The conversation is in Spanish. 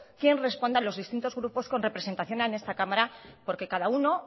quién responde a los distintos grupos con representación en esta cámara porque cada uno